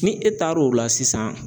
Ni e taar'o la sisan.